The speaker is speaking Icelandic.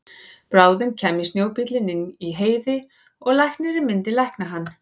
Bráðum kæmi snjóbíllinn inn í Heiði og læknirinn myndi lækna hann.